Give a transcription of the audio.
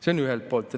Seda ühelt poolt.